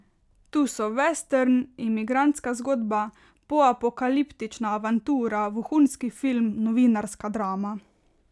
Tu so vestern, imigrantska zgodba, poapokaliptična avantura, vohunski film, novinarska drama.